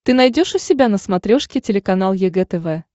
ты найдешь у себя на смотрешке телеканал егэ тв